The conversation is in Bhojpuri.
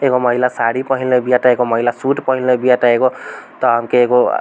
एगो महिला साड़ी पहनले भी अता एगो महिला सूट पहनले भी अता एगो एगो --